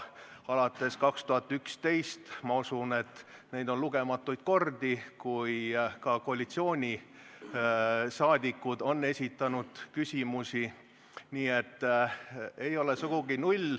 Alates 2011. aastast on olnud, ma usun, lugematuid kordi, kui ka koalitsiooniliikmed on küsimusi esitanud.